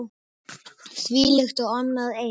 Þvílíkt og annað eins.